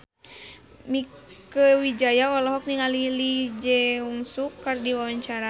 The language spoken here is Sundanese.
Mieke Wijaya olohok ningali Lee Jeong Suk keur diwawancara